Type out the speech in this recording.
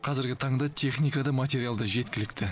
қазіргі таңда техника да материал да жеткілікті